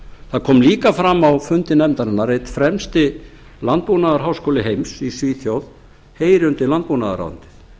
það kom líka fram á fundi nefndarinnar að einn fremsti landbúnaðarháskóli heims í svíþjóð heyri undir landbúnaðarráðuneytið